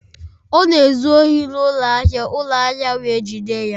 Ọ na-ezu ohi n'ụlọ ahịa ụlọ ahịa wee jide ya